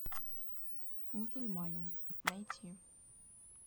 мусульманин найти